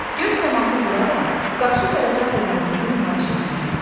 Göz təması quraraq qarşı tərəfə hörmətinizi nümayiş etdirin.